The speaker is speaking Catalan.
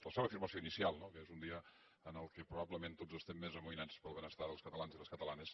la seva afirmació inicial no que és un dia en què probablement tots estem més amoïnats pel benestar dels catalans i les catalanes